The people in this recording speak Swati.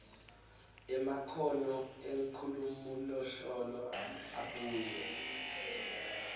emakhono enkhulumoluhlolo abuye